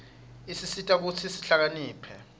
isisita kutsi sihlakaniphe